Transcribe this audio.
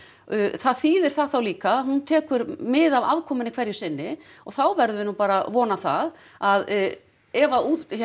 það þýðir það þá líka að hún tekur mið af afkomunni hverju sinni og þá verðum við nú bara að vona það að ef að